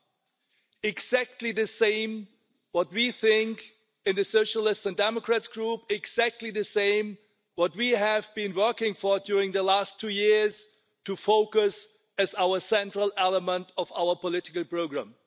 This is exactly the same as what we think in the Socialists and Democrats Group, exactly what we have been working for, during the last two years, to focus on as our central element of our political programme.